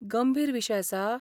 गंभीर विशय आसा?